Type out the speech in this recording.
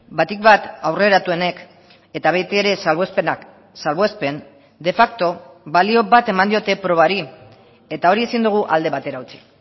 batik bat aurreratuenek eta betiere salbuespenak salbuespen de facto balio bat eman diote probari eta hori ezin dugu alde batera utzi